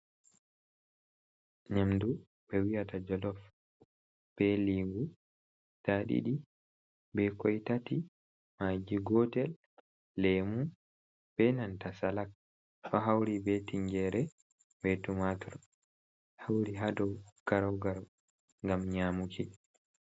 Nyamdu ɓe wi'ata jolof be lingu guda ɗiɗi, be koi tati, magi gotel, lemu be nanta salak ɗo hauri be tingere, be tumatur hauri ha dou garau-garau. Ngam nyaamuki.